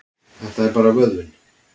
Þetta er bara vöðvinn.